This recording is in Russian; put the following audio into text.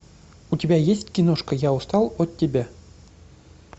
у тебя есть киношка я устал от тебя